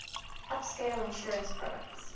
upscale insurance products